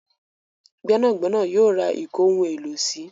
Gbénàgbẹ́nà yóò ra ìkóhun-èlò-sí